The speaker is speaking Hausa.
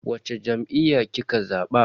Wacce jam'iyya kika zaba?